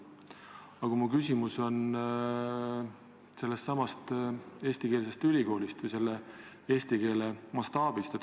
Aga mu küsimus on sellesama eestikeelse ülikooli kohta või eesti keele mastaabi kohta.